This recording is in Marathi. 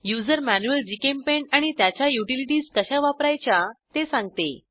युजर मॅन्युअल जीचेम्पेंट आणि त्याच्या युटिलिटीज कशा वापरायच्या ते सांगते